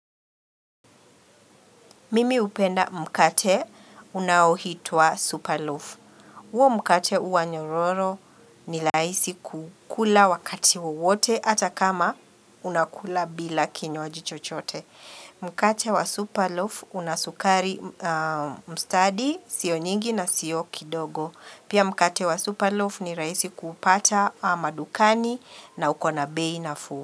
Mimi upenda mkate unaitwa superloof. Uo mkate uanyororo ni raisi kukula wakati wote hata kama unakula bila kinywaji chochote. Mkate wa superloof unasukari mstadi sionyingi na sio kidogo. Pia mkate wa superloof ni raisi kupata madukani na ukona beinafu.